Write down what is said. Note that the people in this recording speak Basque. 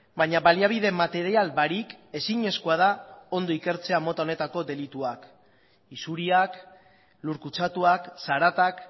baina baliabide material barik ezinezkoa da ondo ikertzea mota honetako delituak isuriak lur kutsatuak zaratak